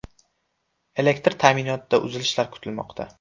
Elektr ta’minotida uzilishlar kuzatilmoqda.